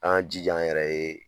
An k'an jija an yɛrɛ ye.